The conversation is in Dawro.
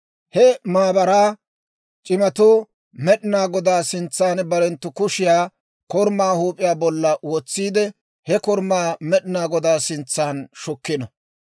He maabaraa c'imatuu Med'inaa Godaa sintsan barenttu kushiyaa korumaa huup'iyaa bollan wotsiide, he korumaa Med'inaa Godaa sintsan shukkino.